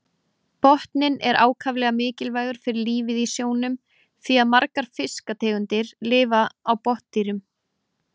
Botninn er ákaflega mikilvægur fyrir lífið í sjónum því að margar fiskategundir lifa á botndýrum.